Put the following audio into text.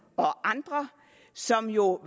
og andre som jo